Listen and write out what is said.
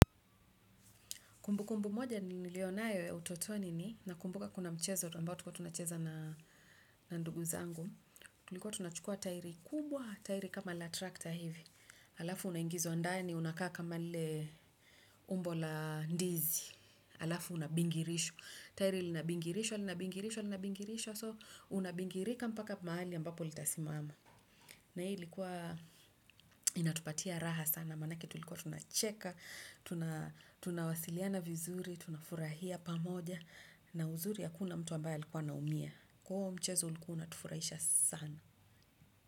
Kumbu kumbu moja nililo nayo ya utotoni ni, nakumbuka kuna mchezo, ambao tulikuwa tunacheza na ndugu zangu, tulikuwa tunachukua tairi kubwa, tairi kama la trakta hivi. Alafu unaingizwa ndani unakaa kama lile umbo la ndizi. Alafu unabingirishwa. Tairi linabingirishwa, linabingirishwa, linabingirishwa, so unabingirika mpaka mahali ambapo litasimama. Na hii ilikuwa inatupatia raha sana, manake tulikuwa tunacheka, tunawasiliana vizuri. Tunafurahia pamoja na uzuri hakuna mtu ambaye alikuwa anaumia huo mchezo ulikuna unatufurahisha sana.